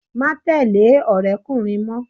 Má tẹ̀lẹ́ ọ̀rẹ́kùnrín mọ́!